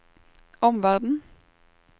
omverden